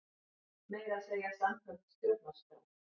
Meira að segja samkvæmt stjórnarskrá!